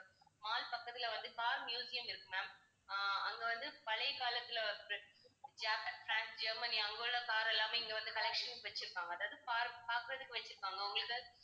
mall பக்கத்தில வந்து car museum இருக்கு ma'am ஆஹ் அங்க வந்து பழைய காலத்துல பிரான்ஸ், ஜெர்மனி அங்குள்ள car எல்லாமே இங்க வந்து collections வச்சுருப்பாங்க அதாவது பார்க்~ பார்க்கிறதுக்கு வச்சுருப்பாங்க உங்களுக்கு